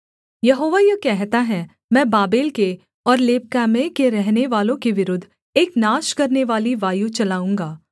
यहोवा यह कहता है मैं बाबेल के और लेबकामै के रहनेवालों के विरुद्ध एक नाश करनेवाली वायु चलाऊँगा